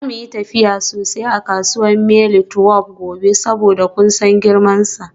Za mu yi tafiya sosai a kasuwar Mile 12 gobe saboda kun san girmansa.